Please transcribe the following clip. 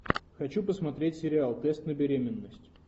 хочу посмотреть сериал тест на беременность